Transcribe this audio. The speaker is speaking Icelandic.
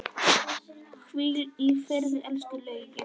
Hvíl í friði, elsku Laugi.